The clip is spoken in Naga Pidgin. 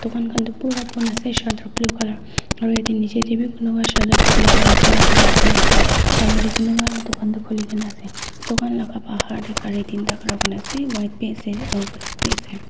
ann kan toh bura bon ase shutter blue colour aro yati neji tebe bloomish kan toh blue colour bon ase aro yeti kiman ta koli kina ase tukan laga par teh kari teenta kara kuri ase white be ase aro black be ase.